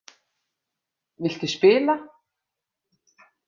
Viltu spila?